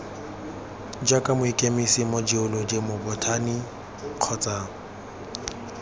jaaka mokemise mojeoloji mobothani kgotsa